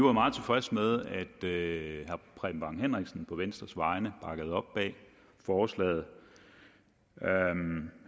er meget tilfredse med at herre preben bang henriksen på venstres vegne bakkede op om forslaget